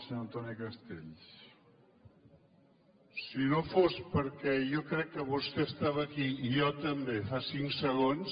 si no fos perquè jo crec que vostè estava aquí i jo també fa cinc segons